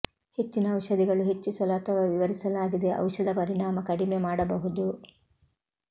ಹೆಚ್ಚಿನ ಔಷಧಿಗಳು ಹೆಚ್ಚಿಸಲು ಅಥವಾ ವಿವರಿಸಲಾಗಿದೆ ಔಷಧ ಪರಿಣಾಮ ಕಡಿಮೆ ಮಾಡಬಹುದು